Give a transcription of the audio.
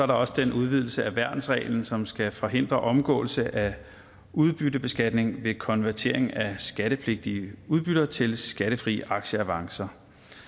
også den udvidelse af værnsreglen som skal forhindre omgåelse af udbyttebeskatning ved konvertering af skattepligtige udbytter til skattefri aktieavancer